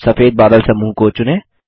सफेद बादल समूह को चुनें